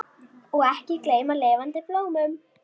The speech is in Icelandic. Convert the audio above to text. Og ekki gleyma lifandi blómum!